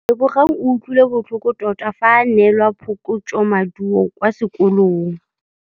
Lebogang o utlwile botlhoko tota fa a neelwa phokotsômaduô kwa sekolong.